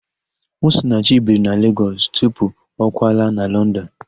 Osinachi biri na Legọs tupu ọ kwalaa na London.